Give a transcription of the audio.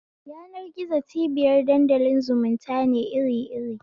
Yanar-gizo cibiyar dandalin zumunta ne iri iri